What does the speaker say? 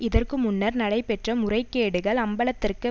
இதற்கு முன்னர் நடைபெற்ற முறைகேடுகள் அம்பலத்திற்கு